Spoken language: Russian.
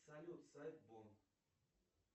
салют сайт бом